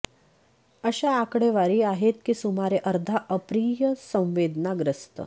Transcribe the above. अशा आकडेवारी आहेत की सुमारे अर्धा अप्रिय संवेदना ग्रस्त